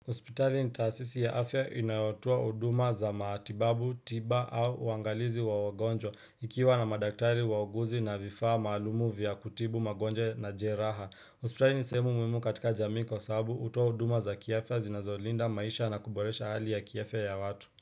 Hospitali nitaasisi ya afya inayotoa huduma za matibabu, tiba au uangalizi wa wagonjwa ikiwa na madaktari wa uguzi na vifaa maalumu vya kutibu magonjwa na jeraha. Hospitali nisehemu muhimu katika jamii kwa sahabu hutoa huduma za kiafya zinazolinda maisha na kuboresha hali ya kiafya ya watu.